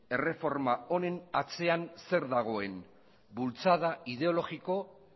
erreforma honen atzean zer dagoen bultzada ideologiko